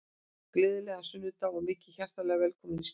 Gleðilegan sunnudag og verið hjartanlega velkomin í slúður.